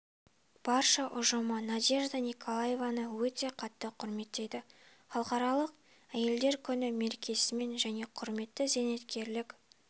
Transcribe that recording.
барша ұжымы надежда николаевнаны өте қатты құрметтейді халықаралық әйелдер күні мерекесімен және құрметті зейнеткерлік